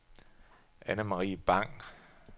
Anne-Marie Bang